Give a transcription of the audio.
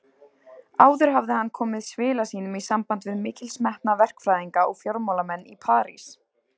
Áður hafði hann komið svila sínum í samband við mikilsmetna verkfræðinga og fjármálamenn í París.